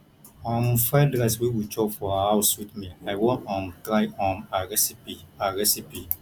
um fried rice wey we chop for her house sweet me i wan um try um her recipe her recipe